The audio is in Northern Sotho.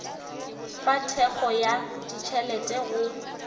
fa thekgo ya ditšhelete go